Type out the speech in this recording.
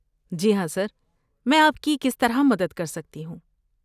جی ہاں، سر، میں آپ کی کس طرح مدد کر سکتی ہوں؟